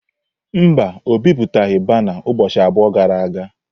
Mba, o bipụtaghị bana ụbọchị abụọ gara aga.